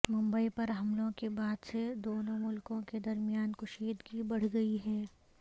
ممبئی پر حملوں کے بعد سے دونوں ملکوں کے درمیان کشیدگی بڑھ گئی ہے